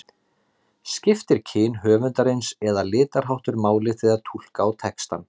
Skiptir kyn höfundarins eða litarháttur máli þegar túlka á textann?